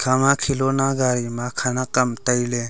ikha ma khelona gari ma khenak am tailey.